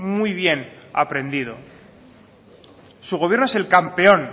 muy bien aprendido su gobierno es el campeón